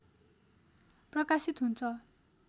प्रकाशित हुन्छ